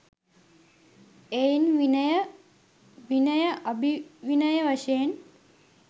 එයින් විනය, විනයඅභිවිනය වශයෙන්